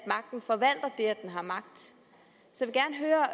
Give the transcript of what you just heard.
den har magt